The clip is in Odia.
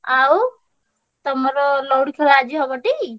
ଆଉ ତମର ଲଉଡି ଖେଳ ଆଜି ହବ ଟି?